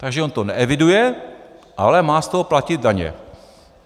- Takže on to neeviduje, ale má z toho platit daně.